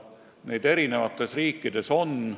Neid eri riikides on.